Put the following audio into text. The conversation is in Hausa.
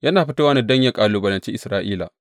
Yana fitowa ne don yă kalubalanci Isra’ila.